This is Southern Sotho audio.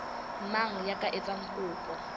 mang ya ka etsang kopo